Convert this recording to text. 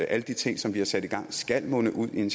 alle de ting som vi har sat i gang skal munde ud i